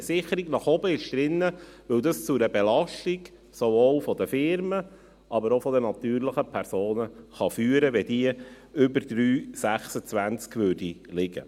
Eine Sicherung nach oben ist drin, weil es zu einer Belastung sowohl der Firmen als aber auch der natürlichen Personen führen kann, wenn sie über 3,26 läge.